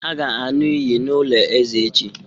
A ga-aṅụ iyi n'ụlọ eze echi